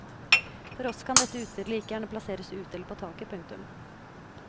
For oss kan dette utstyret like gjerne plasseres ute eller på taket. punktum